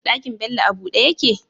Ɗakin Bello a buɗe yake?